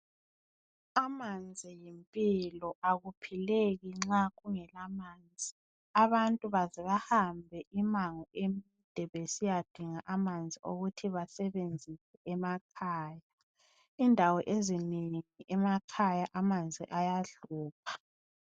Amanzi yimpilo, akuphileki nxa kungela manzi. Abantu baze bahambe imango emide besiyadinga amanzi okuthi basebenzise emakhaya. Indawo ezinengi emakhaya amanzi ayahlupha.